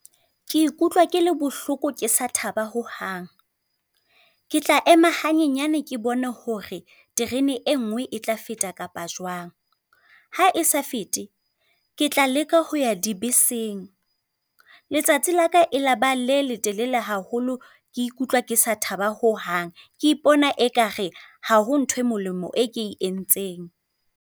Ke ikutlwa ke le bohloko, ke sa thaba hohang. Ke tla ema hanyenyane, ke bone hore terene e nngwe e tla feta kapa jwang. Ha e sa fete, ke tla leka ho ya dibeseng. Letsatsi la ka e laba le letelele haholo, ke ikutlwa ke sa thaba ho hang, ke ipona ekare ha ho ntho e molemo e ke entseng.